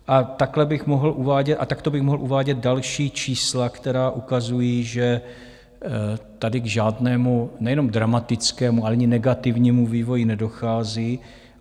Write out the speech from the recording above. A takto bych mohl uvádět další čísla, která ukazují, že tady k žádnému nejenom dramatickému, ale ani negativnímu vývoji nedochází.